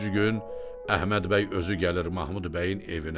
Üçüncü gün Əhməd bəy özü gəlir Mahmud bəyin evinə.